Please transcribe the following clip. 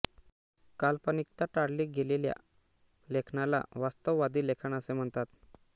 काल्पनिकता टाळली गेलेल्या लेखनाला वास्तववादी लेखन असे म्हणतात